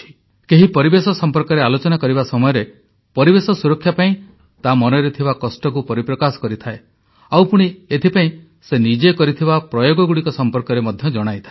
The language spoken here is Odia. କେହି ପରିବେଶ ସମ୍ପର୍କରେ ଆଲୋଚନା କରିବା ସମୟରେ ପରିବେଶ ସୁରକ୍ଷା ପାଇଁ ତା ମନରେ ଥିବା କଷ୍ଟକୁ ପରିପ୍ରକାଶ କରିଥାଏ ଆଉ ପୁଣି ଏଥିପାଇଁ ସେ ନିଜେ କରିଥିବା ପ୍ରୟୋଗଗୁଡ଼ିକ ସମ୍ପର୍କରେ ମଧ୍ୟ ଜଣାଇଥାଏ